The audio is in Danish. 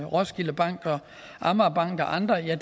roskilde bank amagerbanken og andre at